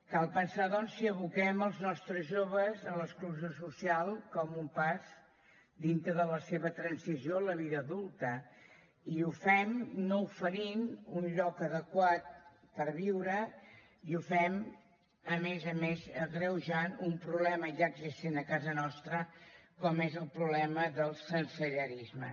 cal pensar doncs si aboquem els nostres joves a l’exclusió social com un pas dintre de la seva transició a la vida adulta i ho fem no oferint un lloc adequat per viure i ho fem a més a més agreujant un problema ja existent a casa nostra com és el problema del sensellarisme